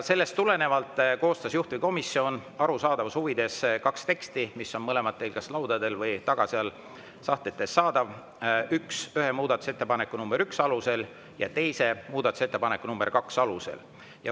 Sellest tulenevalt koostas juhtivkomisjon arusaadavuse huvides kaks teksti, mis on mõlemad kas teil laudadel või seal taga sahtlites saada, ühe muudatusettepaneku nr 1 alusel ja teise muudatusettepaneku nr 2 alusel.